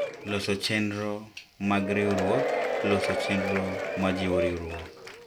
Loso Chenro mag Riwruok: Loso chenro ma jiwo riwruok.